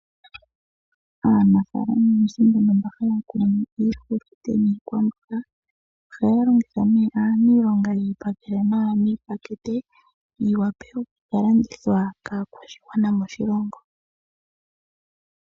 Aanafalama oyendji mboka haya kunu iihulunde niikwamboga ohaya longitha aanilonga yeyi pakele nawa miipakete yi wape okukalandithwa kaakwashigwana moshilongo.